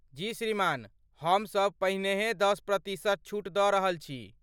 जी श्रीमान, हम सब पहिनेहे दश प्रतिशत छूट दऽ रहल छी।